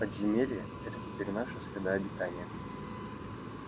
подземелье это теперь наша среда обитания